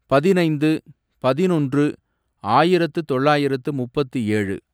பதினைந்து, பதினொன்று, ஆயிரத்து தொள்ளாயிரத்து முப்பத்து ஏழு